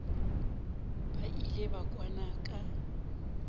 ba ile ba kwana ka